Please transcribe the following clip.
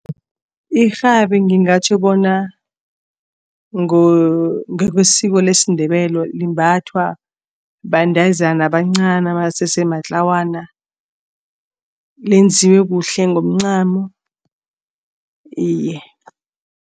Irhabi ngingatjho bona ngokwesiko lesiNdebele limbathwa bantazana abancani abasese matlawana, lenziwe kuhle ngomncamo, iye.